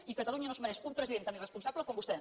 i catalunya no es mereix un president tan irresponsable com vostè